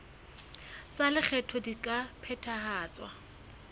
tsa lekgetho di ka phethahatswa